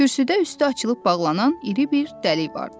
Kürsüdə üstü açılıb bağlanan iri bir dəlik vardı.